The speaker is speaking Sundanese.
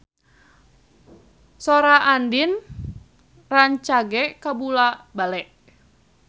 Sora Andien rancage kabula-bale